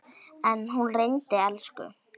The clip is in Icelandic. En hún reyndi, elsku hróið.